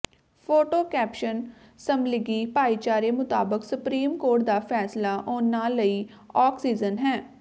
photo caption ਸਮਲਿੰਗੀ ਭਾਈਚਾਰੇ ਮੁਤਾਬਕ ਸੁਪਰੀਮ ਕੋਰਟ ਦਾ ਫ਼ੈਸਲਾ ਉਨ੍ਹਾਂ ਲਈ ਆਕਸੀਜਨ ਹੈ